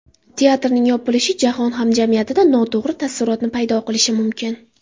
Teatrning yopilishi jahon hamjamiyatida noto‘g‘ri taassurotni paydo qilishi mumkin.